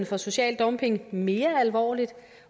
for social dumping mere alvorligt